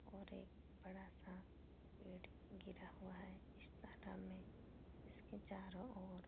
और एक बड़ा-सा पेड़ गिरा हुआ है इस तालाब में इसके चारो ओर --